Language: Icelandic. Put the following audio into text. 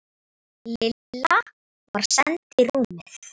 Lilla var send í rúmið.